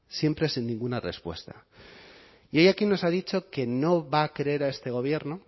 siempre sin ninguna respuesta y hoy aquí nos ha dicho que no va a creer a este gobierno